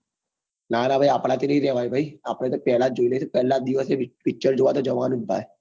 નાના ભાઈ નાના આપણાથી નહિ રહેવાય ભાઈ આપડે તો પહેલા જ જોઈ લઈશ પહેલા જ દિવસે picture જોવા તો જવાનું જ ભાઈ